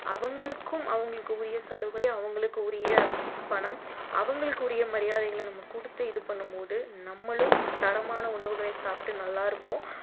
அவங்களுக்கும் அவங்களுக்கு உரிய சலுகை அவங்களுக்கு உரிய பணம் அவங்களுக்கு உரிய மரியாதைகளை நம்ம கொடுத்து இது பண்ணும்போது நம்மளும் தரமான உணவுகளை சாப்பிட்டு நல்லா இருப்போம்